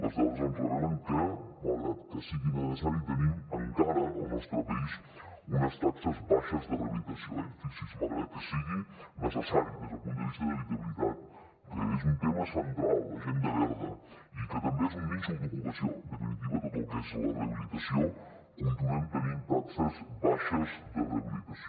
les dades ens revelen que malgrat que sigui necessari tenim encara al nostre país unes taxes baixes de rehabilitació eh fixi s’hi malgrat que sigui necessari des del punt de vista d’habitabilitat que és un tema central l’agenda verda i que també és un nínxol d’ocupació en definitiva tot el que és la rehabilitació continuem tenint taxes baixes de rehabilitació